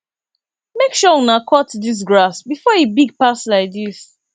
make sure una cut dis grass before e big pass like dis